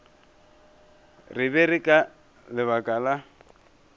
re ke ka lebaka la